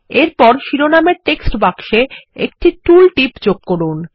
এরপর শিরোনামের টেক্সট বাক্সেএকটি টুল টিপ যোগ করুন